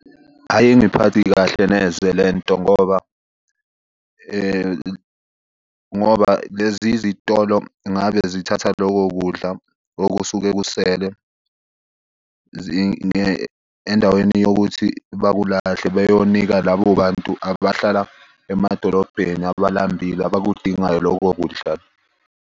Ayingiphathi kahle neze le nto ngoba, ngoba lezi zitolo ngabe zithatha loko kudla okusuke kusele . Endaweni yokuthi bakulahlele beyonika labo bantu abahlala emadolobheni abalambile abakudingayo loko kudla.